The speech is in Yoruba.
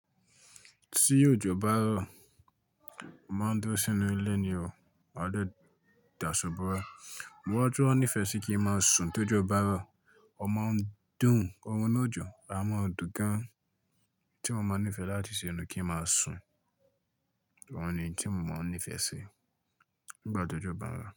Tí òjò bá rọ̀, máa ń dúró sínú ilé ni o, máa jẹ́ dàsọ̀bọ̀ ra. Mo wá tun wá nífẹ̀ẹ́ sí kí n máa sùn tó ojọ bá rọ̀. O máa ń dùn, orun inú ọjọ, a mọ̀ dùn gan-an tí wọ́n máa ń nífẹ̀ẹ́ láti ṣe ni kí n máa sùn. Òun ni tí mo máa ń nífẹ̀ẹ́ sí nígbà t'ójọ bá rọ̀.